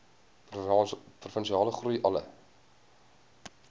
provinsiale groei alle